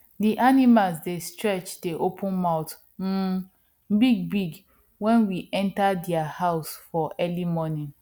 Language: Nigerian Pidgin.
di animals dey stretch dey open mouth um bigbig when we enter dia house for early morning